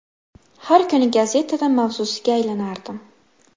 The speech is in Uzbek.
Har kuni gazetada mavzusiga aylanardim.